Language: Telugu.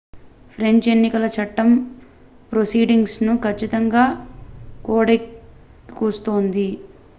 ఫ్రెంచ్ ఎన్నికల చట్టం ప్రొసీడింగ్స్ ను కచ్చితంగా కోడైక్చేస్తుంది